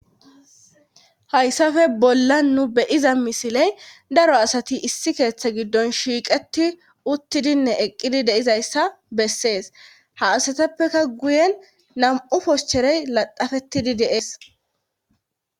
hayssafe bolla nu beyiza misiley daro asati issi keeththa giddon shiiqeti uttidinne eqqidi deizayssa bessees ha asatappeka guyen nam7u poshcherey ladafetidi de7ees.